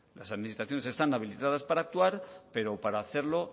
las administraciones están habilitadas para actuar pero para hacerlo